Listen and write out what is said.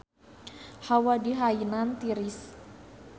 Hawa di Hainan tiris